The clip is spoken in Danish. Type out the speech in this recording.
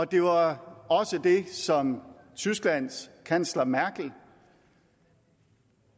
det var også det som tysklands kansler merkel